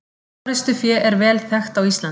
Forystufé er vel þekkt á Íslandi.